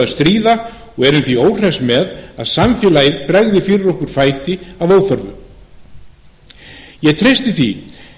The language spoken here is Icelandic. stríða og erum því óhress með að samfélagið bregði fyrir okkur fæti að óþörfu ég treysti því